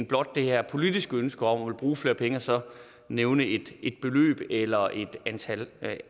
blot det her politiske ønske om at ville bruge flere penge og så nævne et beløb eller et antal